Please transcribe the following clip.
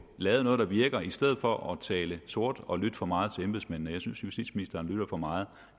lavet noget der virker i stedet for at tale sort og lytte for meget til embedsmændene jeg synes justitsministeren lytter for meget